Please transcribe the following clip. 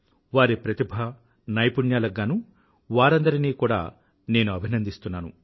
వారి ప్రతిభ నైపుణ్యాలకు గానూ వారందరినీ కూడా నేను అభినందిస్తున్నాను